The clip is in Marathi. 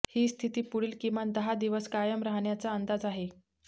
ही स्थिती पुढील किमान दहा दिवस कायम राहण्याचा अंदाज आहे